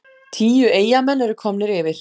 Tíu Eyjamenn eru komnir yfir!